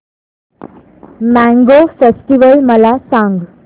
mango festival मला सांग